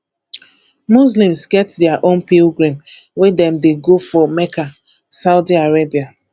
muslims get their own pilgrim wey dem dey go for mecca saudi arabia